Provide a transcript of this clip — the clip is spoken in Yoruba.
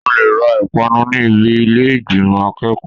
O lè ra ìpanu ní ibi ilé ìgbìmò akẹ́kọ̀ọ́.